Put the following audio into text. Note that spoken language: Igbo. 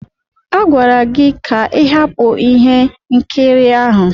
Agwara gị ka ị hapụ ihe nkiri ahụ.